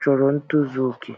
chọrọ ntozu okè.